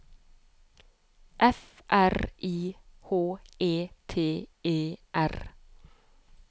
F R I H E T E R